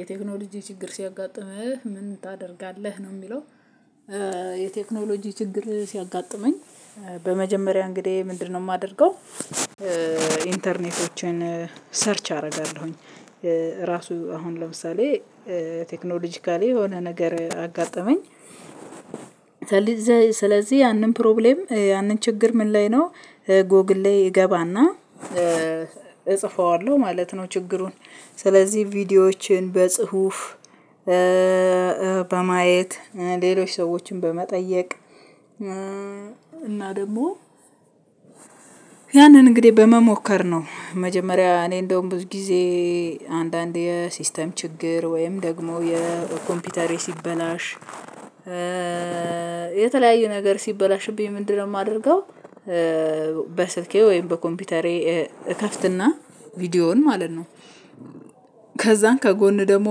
የቴክኖሎጂ ችግር ሲያጋጥምህ ምን ታደርጋለህ ነው የሚለው? የቴክኖሎጂ ችግር ሲያጋጥመኝ በመጀመሪያ እንግዲህ ምንድነው የማደርገው? ኢንተርኔቶችን ሰርች አደርጋለሁኝ ራሱ አሁን ለምሳሌ ቴክኖሎጂካሊ የሆነ ነገር አጋጠመኝ። ስለዚህ ያንን ፕሮብሌም ያንን ችግር ምን ላይ ነው ጎግል እገባና እጽፈዋለሁ ማለት ነው። ችግሩን ስለዚህ ቪዲዮዎችን በጽሁፍ በማየት ሌሎች ሰዎችን በመጠየቅ እና ደግሞ ያንን እንግዲህ በመሞከር ነው። መጀመሪያ እኔ እንደውም ብዙ ጊዜ አንዳንድ የሲስተም ችግር ወይም ደግሞ የኮምፒውተሬ ሲበላሽ። የተለያዩ ነገር ሲበላሽብኝ ምንድነው የማደርገው? በስልኬ ወይም በኮምፒውተሬ እከፍትና ቪዲዮውን ማለት ነው። ከዛን ከጎን ደግሞ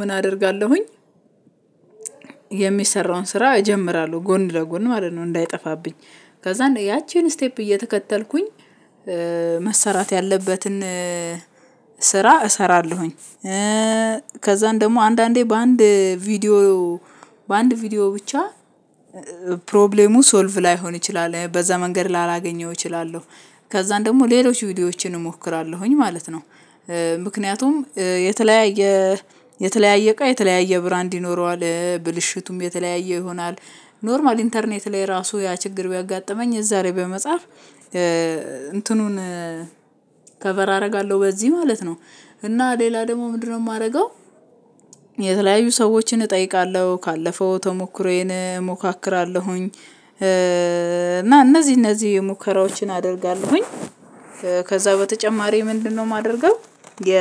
ምን አደርጋለሁኝ? የሚሰራውን ስራ እጀምራለሁ ጎን ለጎን ማለት ነው። እንዳይጠፋብኝ ከዛ ያቺን ስቴፕ እየተከተልኩኝ መሰራት ያለበትን ስራ እሰራለሁኝ። ከዛም ደግሞ አንዳንዴ በአንድ ቪዲዮ በአንድ ቪዲዮ ብቻ ፕሮብሌሙ ሶልቭ ላይሆን ይችላል በዛ መንገድ ላላገኘው እችላለሁ። ከዛም ደግሞ ሌሎች ቪዲዮዎችን እሞክራለሁኝ ማለት ነው። ምክንያቱም የተለያየ የተለያየ እቃ የተለያየ ብራንድ ይኖረዋል ብልሽቱም የተለያየ ይሆናል። ኖርማል ኢንተርኔት ላይ ራሱ ያ ችግር ቢያጋጥመኝ እዛ ላይ በመጻፍ እንትኑን ከቨር አደርጋለሁ በዚህ ማለት ነው። እና ሌላ ደግሞ ምንድነው የማደርገው? የተለያዩ ሰዎችን እጠይቃለሁ ካለፈው ተሞክሮዬን እሞካክራለሁኝ እና እነዚህ እነዚህ የሙከራዎችን አደርጋለሁኝ። ከዛ በተጨማሪ ምንድነው የማደርገው የ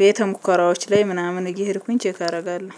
ቤተ ሙከራዎች ላይ ምናምን እየሄድኩኝ ቼክ አደርጋለሁ